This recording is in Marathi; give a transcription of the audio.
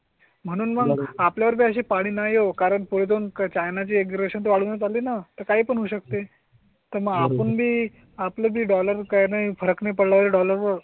म्हणून आपल्या वर असे पाणी नाही हो. कारण पुढे दोन चायना चे ग्रेशन वाढवून चालेल ना? तर काही पण होऊ शकते तर मग आपण मी आपली डॉलर काही फरक नाही पडला पाहिजे डॉलर वर